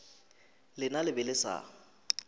lena le be le sa